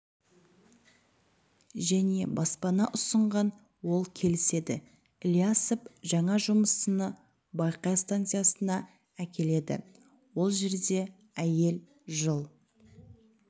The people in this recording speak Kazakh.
және баспана ұсынған ол келіседі ілиясов жаңа жұмысшыны бақай станциясына әкеледі ол жерде әйел жыл